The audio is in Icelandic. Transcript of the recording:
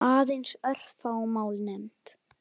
Aðeins örfá mál nefnd.